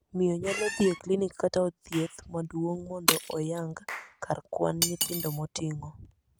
Miyo nyalo dhii e klinik kata od thieth maduong' mondo oyango kar kwan nyithindo moting'o.